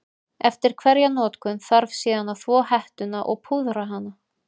Eftir hverja notkun þarf síðan að þvo hettuna og púðra hana.